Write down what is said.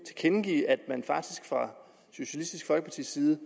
tilkendegive at man faktisk fra socialistisk folkepartis side